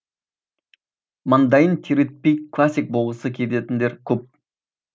маңдайын терлетпей классик болғысы келетіндер көп